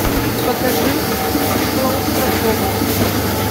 покажи клаустрофобы